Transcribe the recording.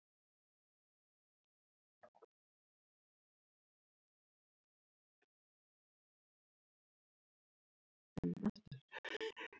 Ég sé ekkert því til fyrirstöðu.